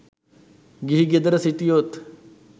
ගිහි ගෙදර සිටියොත්